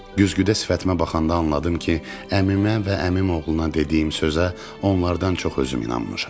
Güzgüdə sifətimə baxanda anladım ki, əmimə və əmimoğluna dediyim sözə onlardan çox özüm inanmışam.